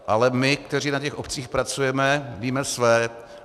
Ale my, kteří na těch obcích pracujeme, víme své.